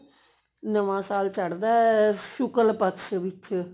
ਨਵਾਂ ਸਾਲ ਚੜਦਾ ਸ਼ੁਕਲਪਕਸ਼ ਵਿੱਚ